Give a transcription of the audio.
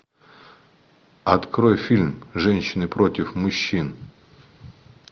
открой фильм женщины против мужчин